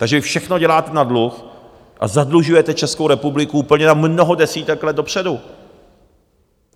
Takže vy všechno děláte na dluh a zadlužujete Českou republiku úplně na mnoho desítek let dopředu.